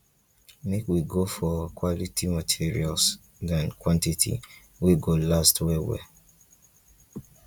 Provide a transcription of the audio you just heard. make we go for quality materials than quantity wey go last well well